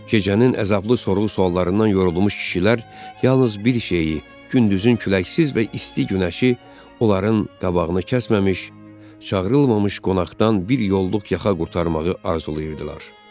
Gecənin əzablı sorğu-suallarından yorulmuş kişilər yalnız bir şeyi, gündüzün küləksiz və isti günəşi onların qabağını kəsməmiş çağırılmamış qonaqdan bir yolduq yaxa qurtarmağı arzulayırdılar.